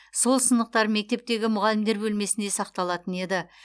сол сынықтар мектептегі мұғалімдер бөлмесінде сақталатын еді